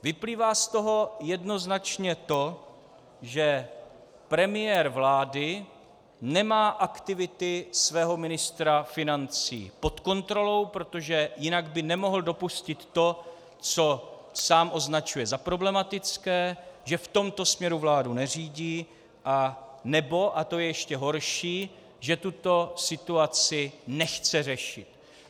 Vyplývá z toho jednoznačně to, že premiér vlády nemá aktivity svého ministra financí pod kontrolou, protože jinak by nemohl dopustit to, co sám označuje za problematické, že v tomto směru vládu neřídí, anebo, a to je ještě horší, že tuto situaci nechce řešit.